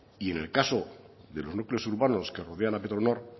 y en el caso de los núcleos urbanos que rodean a petronor